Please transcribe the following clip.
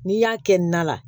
N'i y'a kɛ na la